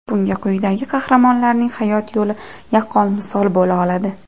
Bunga quyidagi qahramonlarning hayot yo‘li yaqqol misol bo‘la oladi.